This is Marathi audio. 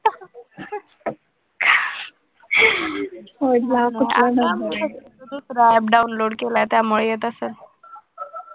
दुसरा app download केलाय त्यामुळे येत असेल,